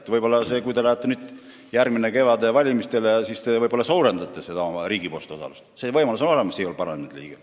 Ja võib-olla järgmisel kevadel valimistele vastu minnes suurendate seda riigi osalust – selline võimalus on olemas igal parlamendi liikmel.